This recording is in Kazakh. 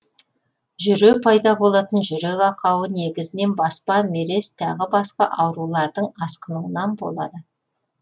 жүре пайда болатын жүрек ақауы негізінен баспа мерез тағы басқа аурулардың асқынуынан болады